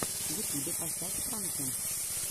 в ютубе поставь пранки